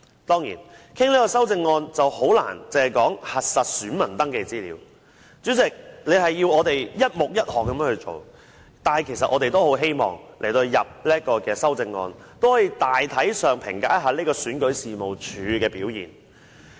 當然，在討論這項修正案時，很難只討論核實選民登記資料這方面，主席，你要求我們一目一項的討論，但其實我們在提出修正案時，也十分希望大體上評價一下選舉事務處的表現。